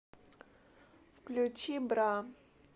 включи бра